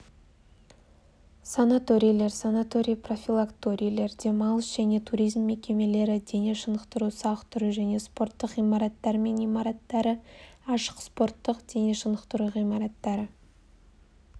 санаторийлер санаторий-профилакторийлер демалыс және туризм мекемелері дене шынықтыру-сауықтыру және спорттық ғимараттар мен имараттары ашық спорттық дене шынықтыру ғимараттары